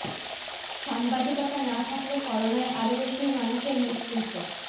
সাংবাদিকতা না থাকলে করোনায় আরও বেশি মানুষের মৃত্যু হতো